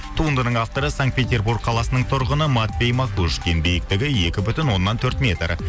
туындының авторы санкт петербург қаласының тұрғыны матвей макушкин биіктігі екі бүтін оннан төрт метр